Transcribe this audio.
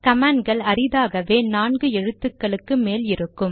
கமாண்ட்கள் அறிதாகவே நான்கு எழுத்துக்களுக்கு மேல் இருக்கும்